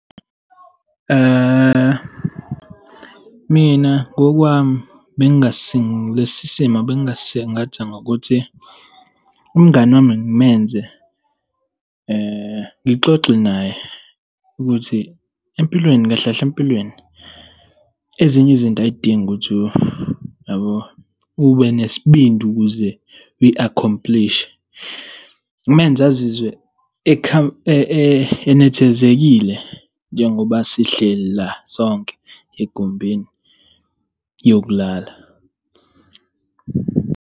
Mina ngokwami lesi simo bengingasingatha ngokuthi, umngani wami ngimenze, ngixoxe naye ukuthi empilweni, kahle kahle empilweni, ezinye izinto ay'dingi ukuthi, yabo, ube nesibindi ukuze uyikhomplishe, ngimenze azizwe enethezekile njengoba sihleli la sonke egumbini yokulala.